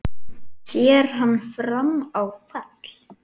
Sér hann fram á fall?